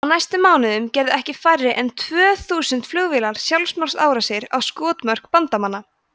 á næstu mánuðum gerðu ekki færri en tvö þúsund flugvélar sjálfsmorðsárásir á skotmörk bandamanna